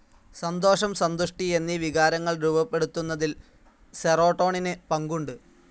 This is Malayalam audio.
സന്തോഷം, സന്തുഷ്ടി എന്നീ വികാരങ്ങൾ രൂപ്പെടുത്തുന്നതിൽ സീറോട്ടോണിൻ പങ്കുണ്ട്.